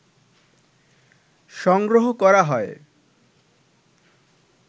সংগ্রহ করা হয়